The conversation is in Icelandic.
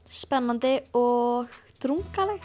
spennandi og drungaleg